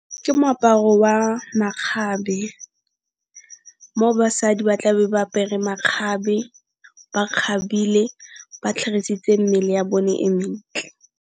Ke moaparo wa makgabe mo basadi ba tlabe ba apere makgabe, ba kgabile ba tlhagisitse mmele ya bone e mentle.